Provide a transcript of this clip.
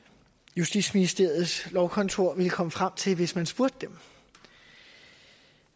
justitsministeriets lovkontor ville komme frem til hvis man spurgte dem